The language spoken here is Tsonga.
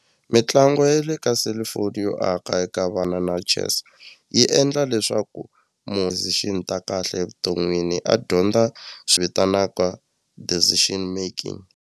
Mitlangu ya le ka selufoni yo aka eka vana na chess yi endla leswaku ta kahle evuton'wini a dyondza swivitanaka decision making.